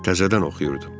Təzədən oxuyurdu.